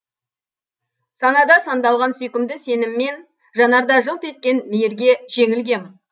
санада сандалған сүйкімді сеніммен жанарда жылт еткен мейірге жеңілгем